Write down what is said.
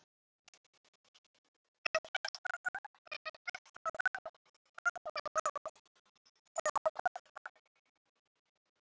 En fólkið heimtar að þessi heiðna mynd sé í kirkjunni.